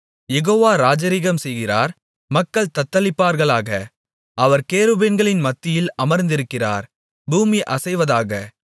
யெகோவா ராஜரிகம்செய்கிறார் மக்கள் தத்தளிப்பார்களாக அவர் கேருபீன்களின் மத்தியில் அமர்ந்திருக்கிறார் பூமி அசைவதாக